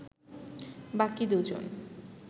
বাকি দুজন